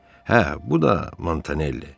Hə, bu da Montanelli.